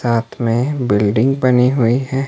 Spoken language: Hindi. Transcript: साथ में बिल्डिंग बनी हुई है।